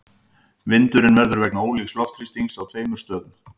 Vindurinn verður vegna ólíks loftþrýstings á tveimur stöðum.